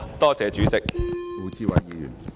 多謝主席。